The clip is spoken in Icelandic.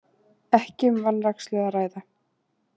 Ekki um vanrækslu að ræða